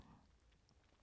DR K